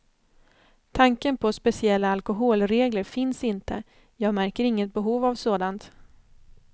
Tanken på speciella alkoholregler finns inte, jag märker inget behov av sådant.